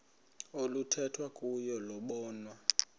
oluthethwa kuyo lobonwa